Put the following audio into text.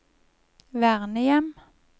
vernehjem